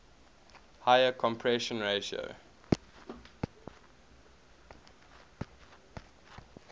higher compression ratio